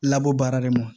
Labɔ baara de ma